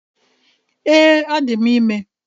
Ee, adị m ime